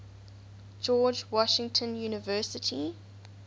george washington university